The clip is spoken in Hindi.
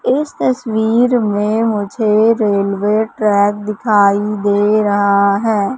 इस तस्वीर मे मुझे रेलवे ट्रक दिखाई दे रहा है।